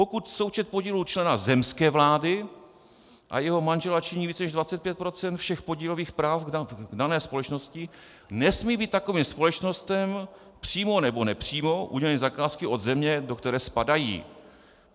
"Pokud součet podílů člena zemské vlády a jeho manžela činí více než 25 % všech podílových práv v dané společnosti, nesmí být takovým společnostem přímo nebo nepřímo uděleny zakázky od země, do které spadají."